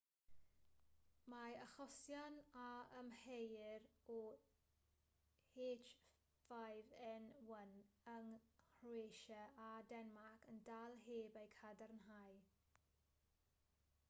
mae achosion a amheuir o h5n1 yng nghroatia a denmarc yn dal heb eu cadarnhau